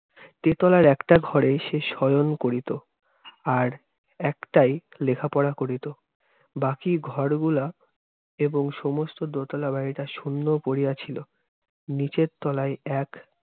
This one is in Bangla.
তেতলার একটা ঘরে সে শয়ন করিত, আর একটায় লেখাপড়া করিত। বাকি ঘরগুলা এবং সমস্ত দোতালা বাড়িটা শুন্য পড়িয়া ছিল। নিচের তলায় এক